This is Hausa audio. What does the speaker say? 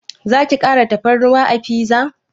Zaki kara tafarnuwa a fiza?